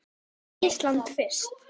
Tökum Ísland fyrst.